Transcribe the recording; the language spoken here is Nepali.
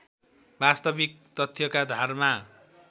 वास्तविक तथ्यका धारमा